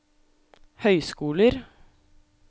høyskoler